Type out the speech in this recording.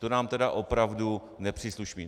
To nám tedy opravdu nepřísluší.